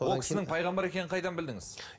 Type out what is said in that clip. ол кісінің пайғамбар екенін қайдан білдіңіз